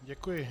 Děkuji.